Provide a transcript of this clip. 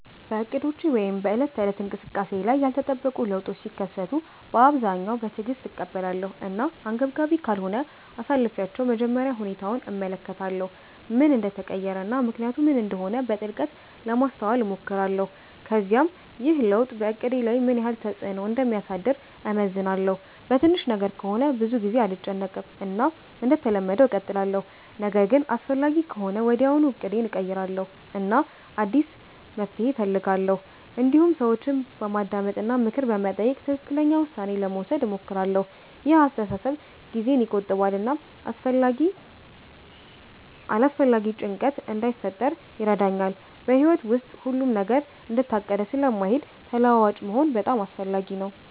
በእቅዶቼ ወይም በዕለት ተዕለት እንቅስቃሴዬ ላይ ያልተጠበቁ ለውጦች ሲከሰቱ በአብዛኛው በትዕግስት እቀበላለሁ እና አንገብጋቢ ካልሆነ አሳልፊቻለሁ መጀመሪያ ሁኔታውን እመለከታለሁ ምን እንደተቀየረ እና ምክንያቱ ምን እንደሆነ በጥልቀት ለማስተዋል እሞክራለሁ ከዚያም ይህ ለውጥ በእቅዴ ላይ ምን ያህል ተፅዕኖ እንደሚያሳድር እመዝናለሁ በትንሽ ነገር ከሆነ ብዙ ጊዜ አልጨነቅም እና እንደተለመደው እቀጥላለሁ ነገር ግን አስፈላጊ ከሆነ ወዲያውኑ እቅዴን እቀይራለሁ እና አዲስ መፍትሔ እፈልጋለሁ እንዲሁም ሰዎችን በማዳመጥ እና ምክር በመጠየቅ ትክክለኛ ውሳኔ ለመውሰድ እሞክራለሁ ይህ አስተሳሰብ ጊዜን ይቆጥባል እና አላስፈላጊ ጭንቀት እንዳይፈጥር ይረዳኛል በሕይወት ውስጥ ሁሉም ነገር እንደታቀደ ስለማይሄድ ተለዋዋጭ መሆን በጣም አስፈላጊ ነው